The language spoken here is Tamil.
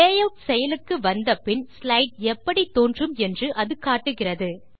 லேயூட் செயலுக்கு வந்த பின் ஸ்லைட் எப்படி தோன்றும் என்று அது காட்டுகிறது